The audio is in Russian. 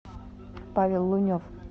павел лунев